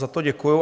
Za to děkuju.